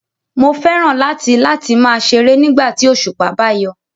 Mo fẹ́ràn láti láti máa ṣeré nígbà tí òṣùpá bá yọ